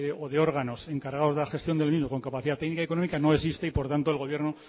o de órganos encargados de la gestión del mismo con capacidad técnica y económica no existe y por tanto el gobierno